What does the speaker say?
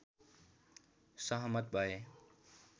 सहमत भए